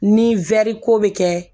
Ni ko bɛ kɛ